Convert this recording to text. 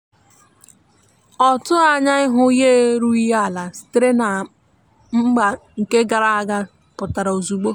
ọ tughi anya ihu yaerughi ala sitere na mgba nke gara aga pụtara ozugbo